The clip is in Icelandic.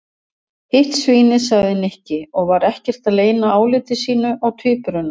Hitt svínið sagði Nikki og var ekkert að leyna áliti sínu á tvíburunum.